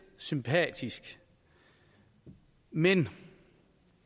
sympatisk men